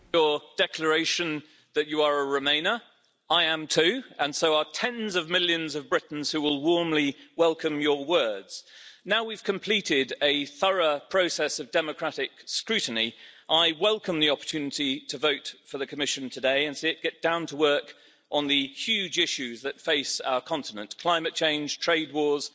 Madam President, President von der Leyen, thank you for your declaration that you are a remainer. I am too, and so are tens of millions of Britons who will warmly welcome your words. Now we've completed a thorough process of democratic scrutiny, I welcome the opportunity to vote for the Commission today and see it get down to work on the huge issues that face our continent climate change, trade wars,